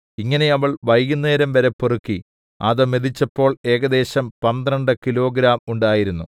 ഇങ്ങനെ അവൾ വൈകുന്നേരംവരെ പെറുക്കി അത് മെതിച്ചപ്പോൾ ഏകദേശം പന്ത്രണ്ട് കിലോഗ്രാം ഉണ്ടായിരുന്നു